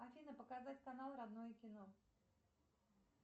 афина показать канал родное кино